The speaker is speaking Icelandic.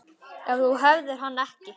Ef þú hefðir hann ekki.